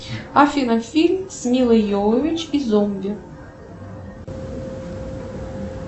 афина фильм с милой йовович и зомби